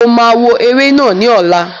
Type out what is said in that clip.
Mo ma wò eré náà ní ọ̀la